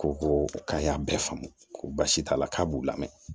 Ko ko k'a y'a bɛɛ faamu ko baasi t'a la k'a b'u lamɛn